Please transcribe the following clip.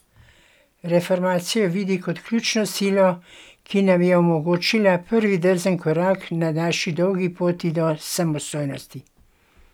Reformacijo vidi kot ključno silo, ki nam je omogočila prvi drzen korak na naši dolgi poti do samostojnosti.